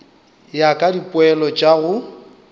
ya ka dipoelo tša go